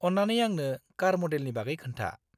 अन्नानै आंनो कार मडेलनि बागै खोन्था।